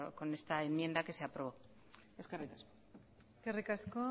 con esta enmienda que se aprobó eskerrik asko eskerrik asko